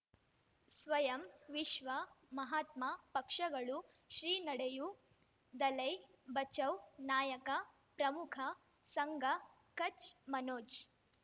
ಸ್ವಯಂ ವಿಶ್ವ ಮಹಾತ್ಮ ಪಕ್ಷಗಳು ಶ್ರೀ ನಡೆಯೂ ದಲೈ ಬಚೌ ನಾಯಕ ಪ್ರಮುಖ ಸಂಘ ಕಚ್ ಮನೋಜ್